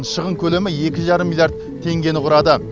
шығын көлемі екі жарым миллиард теңгені құрады